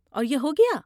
اور یہ ہو گیا؟